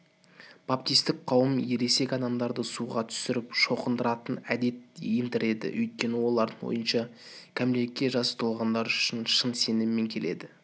баптистік қауымда ересек адамдарды суға түсіріп шоқындыратын әдет ендіреді өйткені олардың ойынша кәмелетке жасы толғандар шын сеніммен келеді